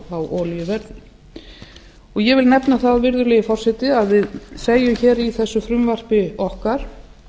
olíuverði ég vil nefna þá virðulegi forseti að við segjum hér í þessu frumvarpi okkar